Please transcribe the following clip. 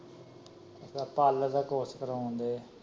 ਅੱਛਾ ਪਾਰਲਰ ਦਾ ਕੋਰਸ ਕਰਾਣ ਡੈ।